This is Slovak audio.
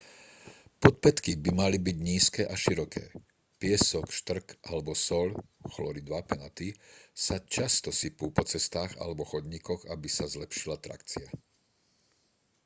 podpätky by mali byť nízke a široké. piesok štrk alebo soľ chlorid vápenatý sa často sypú po cestách alebo chodníkoch aby sa zlepšila trakcia